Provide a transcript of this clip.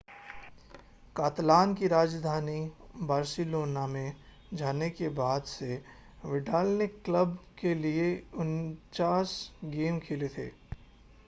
कातलान की राजधानी बार्सिलोना में जाने के बाद से विडाल ने क्लब के लिए 49 गेम खेले थे